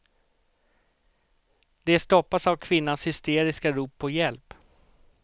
De stoppas av kvinnans hysteriska rop på hjälp.